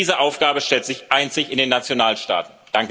Diese Aufgabe stellt sich einzig in den Nationalstaaten.